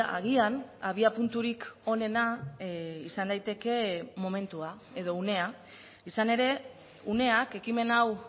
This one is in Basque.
agian abiapunturik onena izan daiteke momentua edo unea izan ere uneak ekimen hau